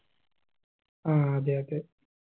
ആ അതെ അതെ